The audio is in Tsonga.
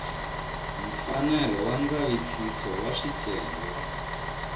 mfanelo wa ndzavisiso wa swicelwa